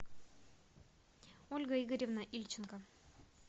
ольга игоревна ильченко